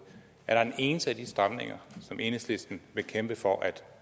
er der en eneste af de stramninger som enhedslisten vil kæmpe for at